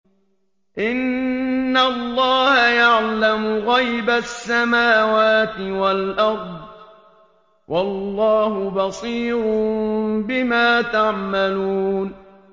إِنَّ اللَّهَ يَعْلَمُ غَيْبَ السَّمَاوَاتِ وَالْأَرْضِ ۚ وَاللَّهُ بَصِيرٌ بِمَا تَعْمَلُونَ